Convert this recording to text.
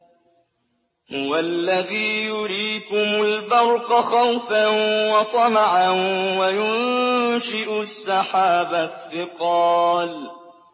هُوَ الَّذِي يُرِيكُمُ الْبَرْقَ خَوْفًا وَطَمَعًا وَيُنشِئُ السَّحَابَ الثِّقَالَ